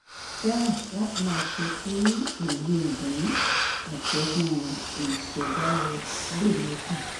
fẹ́ràn láti máa ṣe kí òye ìdùnnú àti ọgbọ́n ìṣẹ̀dá rẹ̀ le mókun